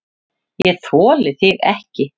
ÉG ÞOLI ÞIG EKKI!